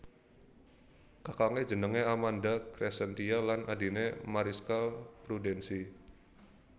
Kakangé jenengé Amanda Crescentia lan adhiné Marischka Prudence